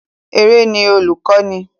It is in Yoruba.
Eré ni olùkọ́ni